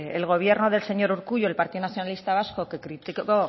el gobierno del señor urkullu el partido nacionalista vasco que criticó